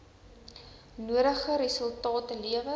nodige resultate lewer